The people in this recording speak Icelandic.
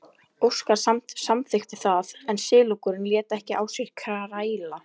Óskar samþykkti það en silungurinn lét ekki á sér kræla.